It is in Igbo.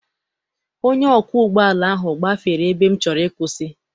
Onye ọkwọ ụgbọala ahụ gbafere ebe m chọrọ ịkwụsị.